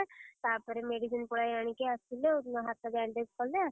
ତାପରେ medicine ପୁଳାଏ ଆଣିକି ଆସିଲୁ ଆଉ ହାତ bandage କଲେ ଆସିଲେ।